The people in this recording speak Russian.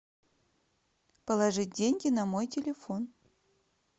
положить деньги на мой телефон